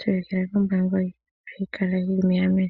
pungula momagumbo ihayi kala yili megameno.